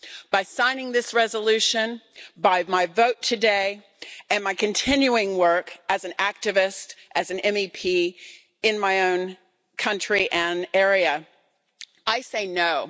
By signing this resolution, by my vote today, and my continuing work as an activist, as an MEP in my own country and area, I say No.